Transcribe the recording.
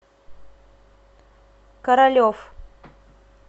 королев